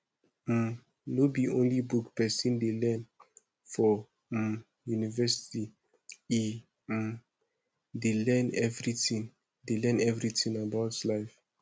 um no be only book pesin dey learn for um university e um dey learn everytin dey learn everytin about life